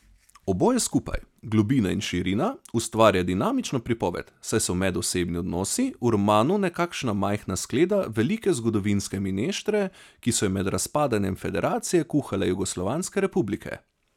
Oboje skupaj, globina in širina, ustvarja dinamično pripoved, saj so medosebni odnosi v romanu nekakšna majhna skleda velike zgodovinske mineštre, ki so jo med razpadanjem federacije kuhale jugoslovanske republike.